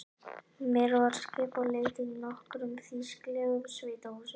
Mér var skipað að leita í nokkrum þýskulegum sveitahúsum.